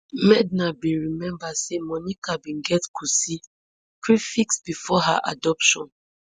medha bin remember say monica bin get kosi prefix bifor her adoption